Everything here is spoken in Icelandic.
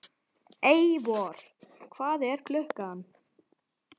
Eivör, hvað er klukkan?